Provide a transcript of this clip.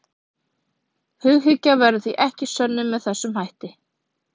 Hughyggja verður því ekki sönnuð með þessum hætti.